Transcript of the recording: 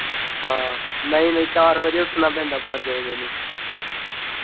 ਹਾਂ ਨਈ-ਨਈ ਚਾਰ ਵਜੇ ਉੱਠਣਾ ਪੈਂਦਾ ਪੰਜ ਵਜੇ ਨੀ।